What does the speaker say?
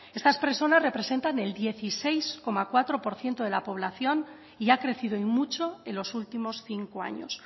estas personas representa el dieciséis coma cuatro por ciento de la población y ha crecido y mucho en los últimos cinco años